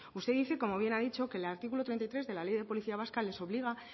usted dice como bien ha dicho que el artículo treinta y tres de la ley de policía vasca les obliga